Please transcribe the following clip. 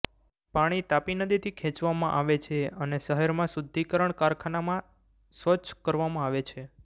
પાણી તાપી નદીથી ખેંચવામાં આવે છે અને શહેરમાં શુદ્ધિકરણ કારખાનનામાં સ્વચ્છ કરવામાં આવે છે